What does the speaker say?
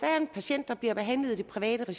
jeg